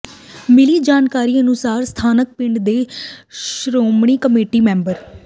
ਮਿਲੀ ਜਾਣਕਾਰੀ ਅਨੁਸਾਰ ਸਥਾਨਕ ਪਿੰਡ ਦੇ ਸ਼੍ਰੋਮਣੀ ਕਮੇਟੀ ਮੈਂਬਰ